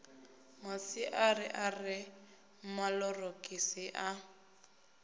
masiari a re maṱorokisi a